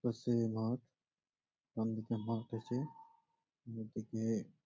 পাশেই মাঠ বামদিকে মাঠ আছে দুদিকে--